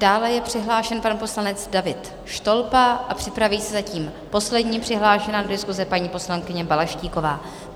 Dále je přihlášen pan poslanec David Štolpa a připraví se zatím poslední přihlášená k diskusi, paní poslankyně Balaštíková.